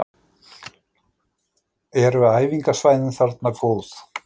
Eru æfingasvæðin þarna góð?